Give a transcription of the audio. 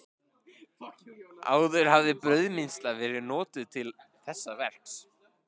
Áður hafði brauðmylsna verið notuð til þessa verks.